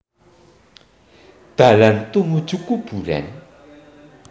Dalan tumuju kuburan